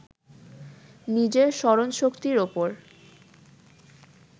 নিজের স্মরণশক্তির ওপর